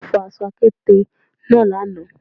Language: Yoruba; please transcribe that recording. Wọ́n fọ aṣọ àkéte náà lánàá